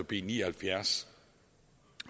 b ni og halvfjerds